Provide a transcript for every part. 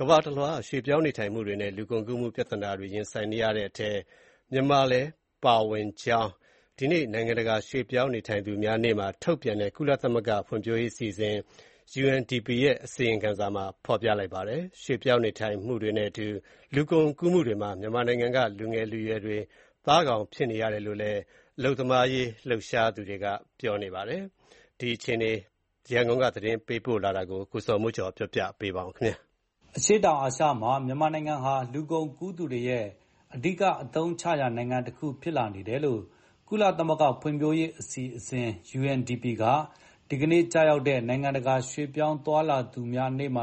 ကမ္ဘာတလွှား ရွှေ့ပြောင်းနေထိုင်မှုတွေနဲ့ လူကုန်ကူးမှု ပြဿနာတွေ ရင်ဆိုင်နေရတဲ့ အထဲမှာ မြန်မာနိုင်ငံလည်း အပါအဝင် ဖြစ်ကြောင်း ဒီကနေ့ နိုင်ငံတကာရွှေ့ပြောင်းနေထိုင်သူများနေ့မှာ ထုတ်ပြန်တဲ့ ကုလသမဂ္ဂ ဖွံ့ဖြိုးရေးအစီအစဉ် UNDP ရဲ့ အစီရင်ခံစာမှာ ဖော်ပြလိုက်ပါတယ်။ ရွှေ့ပြောင်းနေထိုင်မှုတွေနဲ့အတူ လူကုန်ကူးမှုတွေမှာ မြန်မာနိုင်ငံက လူငယ်လူရွယ်တွေ သားကောင်ဖြစ်နေကြရတယ်လို့လည်း အလုပ်သမားရေး လှုပ်ရှားသူတွေက ပြောပါတယ်။ မြန်မာနိုင်ငံက ရွှေ့ပြောင်းနေထိုင်သူတွေ အခြေအနေနဲ့ ပတ်သက်လို့ ရန်ကုန်က သတင်းပေးပို့ ထားတာကို အခြေခံပြီး ကိုဇော်မိုးကျော် တင်ပြထားပါတယ်။ အရှေ့တောင်အာရှမှာ မြန်မာနိုင်ငံဟာ လူကုန်ကူးသူတွေရဲ့ အဓိကအသုံးချရာ နိုင်ငံတခုဖြစ်လာတယ်လို့ ကုလသမဂ္ဂ ဖွံ့ဖြိုးရေးအစီအစဉ် UNDP က ဒီနေ့ကျရောက်တဲ့ နိုင်ငံတကာ ရွှေ့ပြောင်းသွားလာသူများနေ့မှာ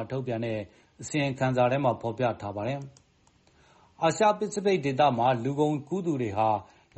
အစီရင်ခံစာထဲမှာ ရေးသားထားတာပါ။ အာရှ-ပစိဖိတ်ဒေသမှာ လူကုန်ကူးသူတွေဟာ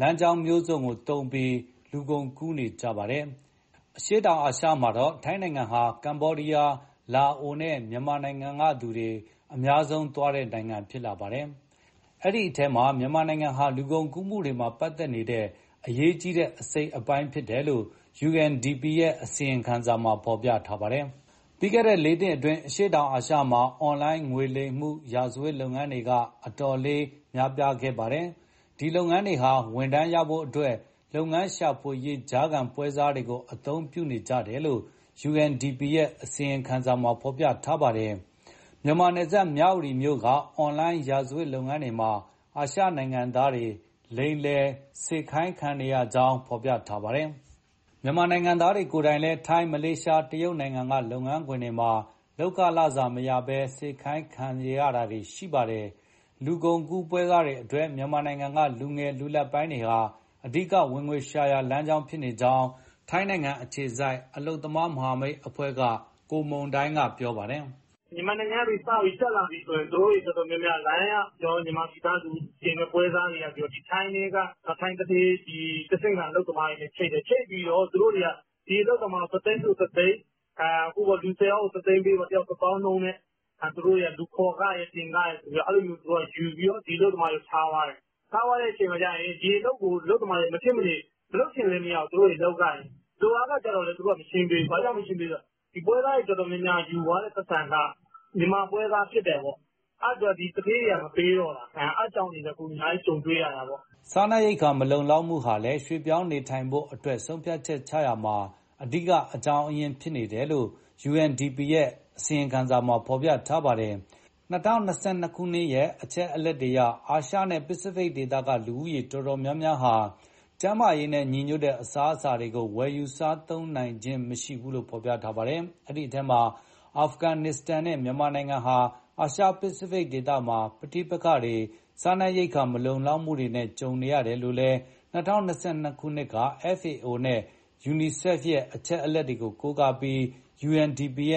လမ်းကြောင်းမျိုးစုံကိုသုံးပြီး လူကုန်ကူးနေကြပါတယ်။ အရှေ့တောင်အာရှမှာတော့ ထိုင်းနိုင်ငံဟာ ကမ္ဘောဒီယား၊ လာအိုနဲ့ မြန်မာနိုင်ငံကသူတွေ အများဆုံးသွားတဲ့နိုင်ငံ ဖြစ်လာပါတယ်။ အဲဒီအထဲမှာ မြန်မာနိုင်ငံဟာ လူကုန်ကူးမှုတွေမှာ ပတ်သက်နေတဲ့ အရေးကြီးတဲ့ အစိတ်အပိုင်း ဖြစ်နေတယ်လို့ UNDP ရဲ့ အစီရင်ခံစာမှာ ရေးသားထားပါတယ်။ ပြီးခဲ့တဲ့ လေးနှစ်အတွင်း အရှေ့တောင်အာရှမှာ အွန်လိုင်းငွေလိမ် ရာဇဝတ်လုပ်ငန်းတွေက အတော်လေး ခေတ်စားလာပါတယ်။ ဒီလုပ်ငန်းတွေဟာ ဝန်ထမ်းရဖို့အတွက် အလုပ်ရှာဖွေရေး ကြားခံပွဲစားတွေကို အသုံးပြုနေကြတယ်လို့ UNDP ရဲ့ အစီရင်ခံစာမှာ ဖော်ပြထားပါတယ်။ မြန်မာနယ်စပ် မြဝတီမြို့က အွန်လိုင်းရာဇဝတ်လုပ်ငန်းတွေမှာ အာရှနိုင်ငံသားတွေ လိမ်ညာစေခိုင်းခံနေရကြောင်း ဖော်ပြထားပါတယ်။ မြန်မာနိုင်ငံသားတွေ ကိုယ်တိုင်လည်း ထိုင်း၊ မလေးရှား၊ တရုတ်နိုင်ငံက လုပ်ငန်းခွင်တွေမှာ လုပ်ခလစာမရဘဲ စေခိုင်းခံနေရတာပါ။ လူကုန်ကူးပွဲစားတွေအတွက် မြန်မာနိုင်ငံက လူငယ်၊ လူလတ်ပိုင်းတွေဟာ အဓိကဝင်ငွေရှာရာ လမ်းကြောင်းဖြစ်နေကြောင်း ထိုင်းအခြေစိုက် အလုပ်သမား မဟာမိတ်အဖွဲ့က ကိုမုန်တိုင်းက ပြောပါတယ်။ "မြန်မာနိုင်ငံက စပြီးတက်လာပြီဆိုရင် သူတို့တော်တော်များများ အွန် က မြန်မာနိုင်ငံသား လူတင်ပွဲစားတွေက ထိုင်းသူဌေး တဆင့်ခံအလုပ်သမားတွေနဲ့ ချိတ်တယ်၊ ချိတ်ပြီး ဒီအလုပ်သမားကို တသိန်းဆိုတသိန်း၊ လူဆယ်ယောက် ၁သိန်းပေး၊ လူတယောက် တသောင်းနှုန်းနဲ့ လူခေါ်ခရယ်၊ တင်ခရယ်ဆိုပြီး အဲလိုယူပြီး ဒီအလုပ်သမားတွေကို ထားသွားတယ်။ ထားသွားတော့ ဒီအလုပ်ကို အလုပ်သမားတွေက မလုပ်ချင်ဘဲ လုပ်ရတယ်။ လုပ်အားခကြလည်း သူတို့(ထိုင်းအလုပ်ရှင် က မရှင်းပေးဘူး၊ ဘာလို့လဲဆို ပွဲစားတွေယူသွားတဲ့ ပိုက်ဆံက မြန်မာပွဲစား ဖြစ်တယ်ပေါ့၊ အဲဒါကြောင့် သူဌေးတွေက မပေးတော့တာ။ အဲဒါတွေ အများကြီး ကြုံတွေ့နေရတယ်။" အစားအစာ မလုံလောက်မှုကလည်း ရွှေ့ပြောင်းနေထိုင်ဖို့အတွက် ဆုံးဖြတ်ချက်ချတာမှာ အဓိက အကြောင်းရင်း ဖြစ်နေတယ်လို့ UNDP ရဲ့စာမှာ ဖော်ပြထားပါတယ်။ ၂၀၂၂ရဲ့ အချက်အလက်အရ အာရှနဲ့ ပစိဖိတ်ဒေသက လူဦးရေအတော်များများဟာ ကျန်းမာရေးနဲ့ညီညွတ်တဲ့ အစားအသောက်တွေကို ဝယ်မစားနိုင်ကြကြောင်း ပြောပါတယ်။ အဲဒီထဲမှာ အာဖဂန်နစ္စတန်နဲ့ မြန်မာနိုင်ငံဟာ အာရှပစိဖိတ်မှာ ပဋိပက္ခတွေ၊ စားနပ်ရိက္ခာ မလုံလောက်မှုတွေနဲ့ ကြုံနေရတယ်လို့ ၂၀၂၂ က FAOနဲ့ UNICEF ရဲ့ အချက်အလက်တွေကို ကိုးကားပြီး UNDP ရ